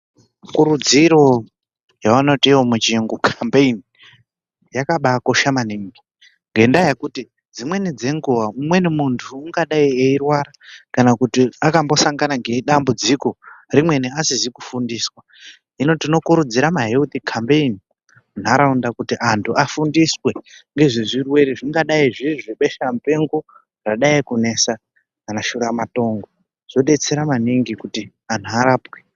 Ikurudziro yavanoti iyo muchiyunhu (campaign) yakabakosha maningi ngendaa yekuti dzimweni dzenguwa umweni muntu ungadai eirwara kana kuti akambosangana nedambudziko rimweni asizi kufundiswa hino tinokurudzira ma(healthy campaign) munharaunda kuti antu afundiswee ngezvirwere zvingadai zviri zvebesha mupenga radai kuenda kana shura matongo zvodetsera maningi kuti antu arapwe.